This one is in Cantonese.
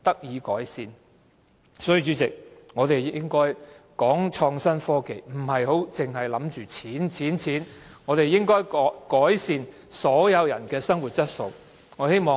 因此，主席，我們談創新科技時，不應只着眼金錢，應該改善所有人的生活質素。